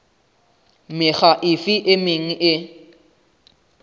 mekga efe e meng e